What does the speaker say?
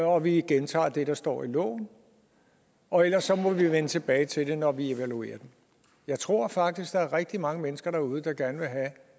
og vi gentager hvad der står i loven og ellers må vi vende tilbage til det når vi evaluerer det jeg tror faktisk der er rigtig mange mennesker derude der gerne vil have